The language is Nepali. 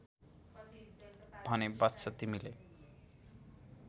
भने वत्स तिमीले